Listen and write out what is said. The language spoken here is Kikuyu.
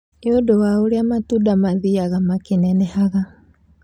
Nĩ ũndũ wa ũrĩa matunda mathiaga makĩnenehaga.